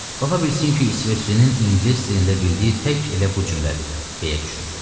Ola bilsin ki, İsveçlinin İngilis dilində bildiyi tək elə bu cümlədir, deyə düşündü.